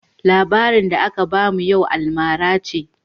Labarin da aka bamu yau almara ce.